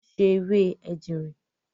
wọ́n se “ewé ejìnrìn”.